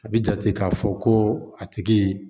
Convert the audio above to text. A bi jate k'a fɔ ko a tigi